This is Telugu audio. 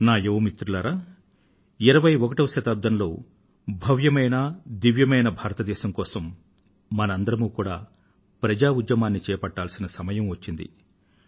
నా యువ మిత్రులారా 21వ శతాబ్దంలో భవ్యమైనదివ్యమైన భారతదేశం కోసం మనందరమూ కూడా ప్రజా ఉద్యమాన్ని చేపట్టాల్సిన సమయం వచ్చింది